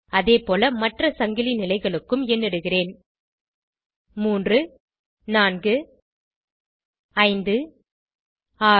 அதேபோல மற்ற சங்கிலி நிலைகளுக்கும் எண்ணிடுகிறேன் 3 4 5 6